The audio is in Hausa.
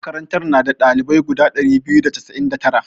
Makarantar na da ɗalibai guda ɗari biyu da casa'in da tara.